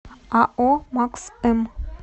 ао макс м